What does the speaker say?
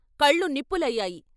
కళ్ళు నిప్పులయ్యాయి.